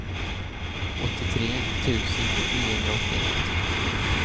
åttiotre tusen niohundraåttioett